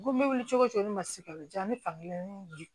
N ko n bɛ wuli cogo di ne ma se ka diya ne fan kelen di